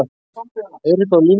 Eiríkur var á línunni.